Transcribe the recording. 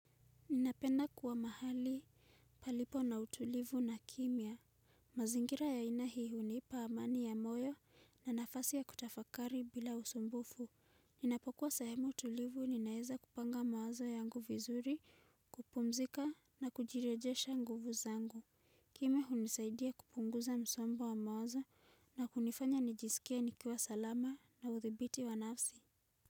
Ninapenda kuwa mahali palipo na utulivu na kimya. Mazingira ya aina hii hunipa amani ya moyo na nafasi ya kutafakari bila usumbufu. Ninapokuwa sehemu tulivu ninaeza kupanga mawazo yangu vizuri, kupumzika na kujirejesha nguvu zangu. Kimya hunisaidia kupunguza msombo wa mawazo na kunifanya nijisikie nikiwa salama na uthibiti wa nafsi.